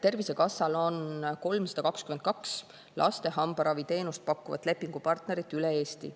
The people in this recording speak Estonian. Tervisekassal on 322 laste hambaravi teenust pakkuvat lepingupartnerit üle Eesti.